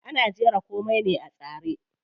Ana jira komai ne a tsare.